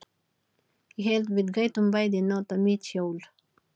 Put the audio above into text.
Ég hélt við gætum bæði notað mitt hjól.